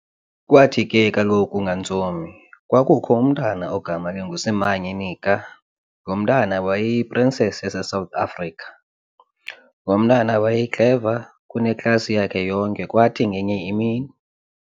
Kwathi ke kaloku ngantsomi, kwakukho umntwana ogama linguSimanye Nika, lomntwana wayeyi Princess yase South Africa, Lomntwana waye Clever kuneklasi yakhe yonke kwathi ngenye imini.